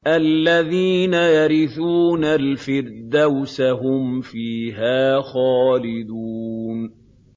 الَّذِينَ يَرِثُونَ الْفِرْدَوْسَ هُمْ فِيهَا خَالِدُونَ